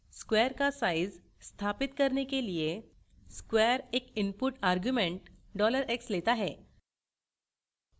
square का size स्थापित करने के लिए square एक input argument $x set है